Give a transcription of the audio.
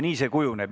Nii see kujuneb.